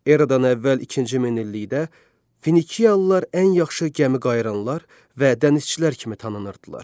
Erada əvvəl ikinci minillikdə Finikiyalılar ən yaxşı gəmiqayıranlar və dənizçilər kimi tanınırdılar.